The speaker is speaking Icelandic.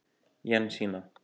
Jensína